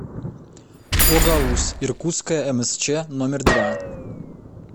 огауз иркутская мсч номер два